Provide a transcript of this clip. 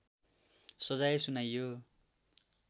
सजाय सुनाइयो